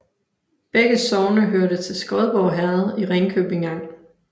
Begge sogne hørte til Skodborg Herred i Ringkøbing Amt